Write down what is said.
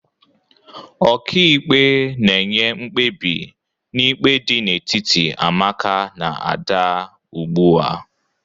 Ọka ikpe na-enye mkpebi n'ikpe dị n'etiti Amaka na Ada ugbua.